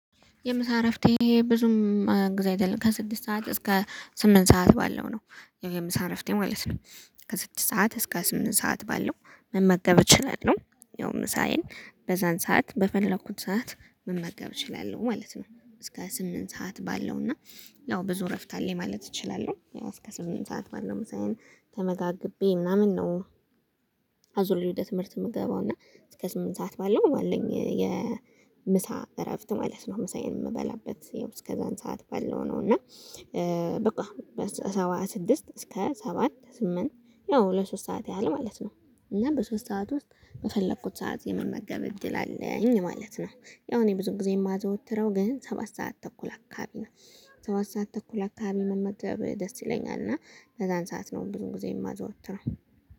የምሳ እረፍቴ ብዙም ጊዜ አይደለም ከስድስት ሰዓት እስከ ስምንት ሰዓት ባለው ነው የምሳ እረፍቴ ማለት ነው። ከስድስት ሰዓት እስከ ስምንት ሰዓት ባለው መመገብ እችላለሁ ያው ምሳዬን በዛን ሰዓት በፈለኩት ሰዓት መመገብ እችላለሁ ማለት ነው። እስከ ስምንት ሰዓት ባለውና ያው ብዙ እረፍት አለኝ ማለት እችላለሁ እስከ ስምንት ሰዓት ባለው ምሳየን ተመጋግቤ ምናምን ነው። አዙሬ ወደ ትምህርት የምገባው እና እስከ ስምንት ሰዓት ባለው ባለኝ የምሳ እረፍት ማለት ነው። ምሳዬን የምበላበት ያው እስከ ዘአን ሰዓት በለው ነው እና። በቃ በሰባት ስድስት እስከ ሰባት ስምንት ያው ለሶስት ሰዓት ያህል ማለት ነው። እና በሶስት ሰዓት ውስጥ በፈለኩት ሰዓት የመመገብ እድል አለኝ ማለት ነው። ያው እኔ ብዙ ጊዜ የማዘወትረው ግን ሰባት ሰዓት ተኩል አካባቢ ነው። ሰባት ሰዓት ተኩል አካባቢ መመገብ ደስ ይለኛል እና በዛን ሰዓት ነው ብዙ ጊዜ የማዘወትረው